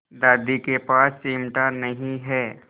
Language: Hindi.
दादी के पास चिमटा नहीं है